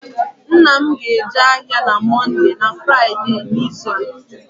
Nne m ga-eje ahịa na Mọnde na Fraịde n'izu a